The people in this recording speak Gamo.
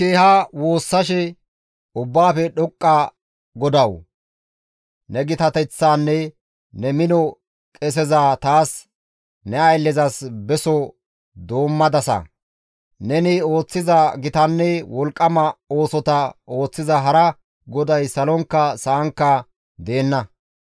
«Ubbaafe dhoqqa GODAWU! Ne gitateththaanne ne mino qeseza taas ne ayllezas beso doommadasa; neni ooththiza gitanne wolqqama oosota ooththiza hara GODAY Salonkka Sa7ankka deenna.